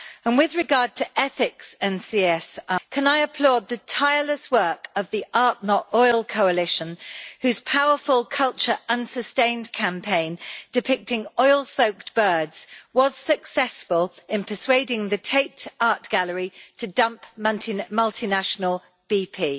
With regard to ethics and CSR, can I applaud the tireless work of the Art Not Oil' coalition whose powerful culture and sustained campaign depicting oil soaked birds was successful in persuading the Tate Art Gallery to dump the multinational BP.